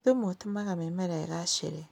Thumu ũtũmaga mĩmera ĩgacĩre